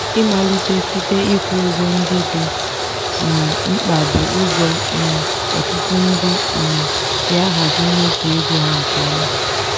ịmalite site ịkwụ ụgwọ ndị dị um mkpa bụ ụzọ um ọtụtụ ndị um si ahazi mmefu ego ha nke ọma.